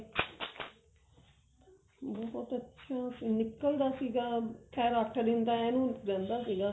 ਬਹੁਤ ਅੱਛਾ ਨਿਕਲਦਾ ਸੀਗਾ ਖੈਰ ਅੱਠ ਦਿਨ ਤਾਂ ਇਹਨੂੰ ਰਹਿੰਦਾ ਸੀਗਾ